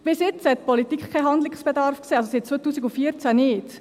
Bis jetzt sah die Politik keinen Handlungsbedarf, also seit 2014 nicht.